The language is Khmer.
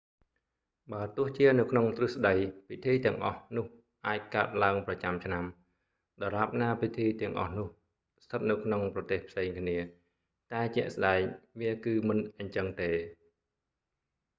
បើទោះជានៅក្នុងទ្រឹស្តី ពិធីទាំងអស់នោះអាចកើតឡើងប្រចាំឆ្នាំ ដរាបណាពិធីទាំងអស់នោះស្ថិតនៅក្នុងប្រទេសផ្សេងគ្នា តែជាក់ស្តែង វាគឺមិនអញ្ចឹងទេ